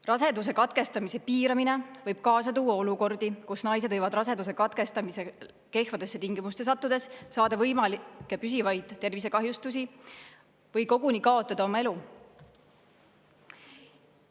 Raseduse katkestamise piiramine võib kaasa tuua olukordi, kus naised võivad raseduse katkestamisel kehvadesse tingimustesse sattudes saada võimalikke püsivaid tervisekahjustusi või koguni kaotada oma elu.